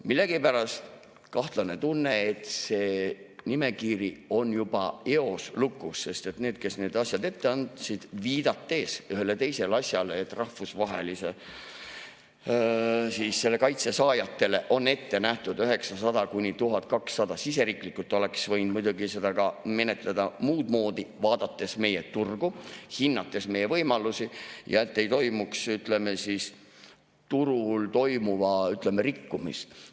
Millegipärast on mul kahtlane tunne, et see nimekiri on juba eos lukus, sest need, kes need asjad ette andsid, viidates ühele teisele asjale, et rahvusvahelise kaitse saajatele on ette nähtud 900–1200 eurot, siseriiklikult oleks võinud muidugi seda menetleda muudmoodi, vaadates meie turgu, hinnates meie võimalusi, et ei toimuks turul toimuva rikkumist.